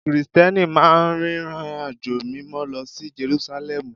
Krìsìtẹ́nì máa ń rìnrìnàjò Mímọ́ lọ sí Jerúsálẹ́mù